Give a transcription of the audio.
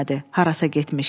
Harasa getmişdi.